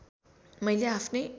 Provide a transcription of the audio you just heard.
मैले आफ्नै